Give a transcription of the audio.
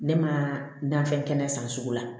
Ne ma fɛn kɛnɛ san sugu la